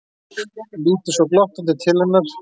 Lítur svo glottandi til hennar.